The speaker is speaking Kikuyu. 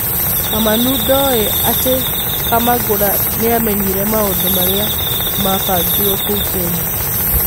Kamanũndoi atĩ Kamangũra nĩamenyĩre maũndũmarĩa ma bangĩirwo kũu Kenya.